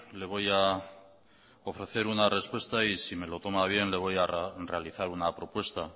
le voy a ofrecer una respuesta y si me lo toma a bien le voy a realizar una propuesta